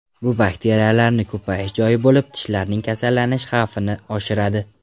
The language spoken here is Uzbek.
Bu bakteriyalarni ko‘payish joyi bo‘lib, tishlarning kasallanish xavfini oshiradi.